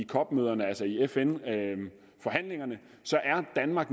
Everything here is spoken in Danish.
cop møderne altså i fn forhandlingerne så er danmark